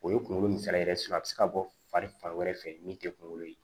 O ye kunkolo misala yɛrɛ ye a bɛ se ka bɔ fari fan wɛrɛ fɛ min tɛ kunkolo ye